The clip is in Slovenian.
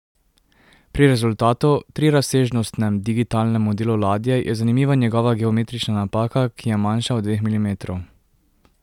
Pri rezultatu, trirazsežnostnem digitalnem modelu ladje, je zanimiva njegova geometrična napaka, ki je manjša od dveh milimetrov.